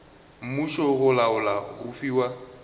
mmušo go laola go fiwa